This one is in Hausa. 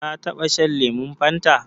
Ka taɓa shan lemon Fanta?